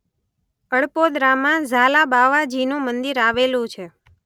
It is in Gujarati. અડપોદરામાં ઝાલાબાવાજીનું મંદિર આવેલું છે.